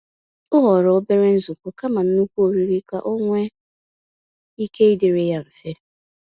O họrọ obere nzukọ kama nnukwu oriri ka ọnwe ike ịdịrị ya mfe.